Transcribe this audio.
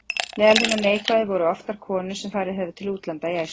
Meðal hinna neikvæðu voru oftar konur sem farið höfðu til útlanda í æsku.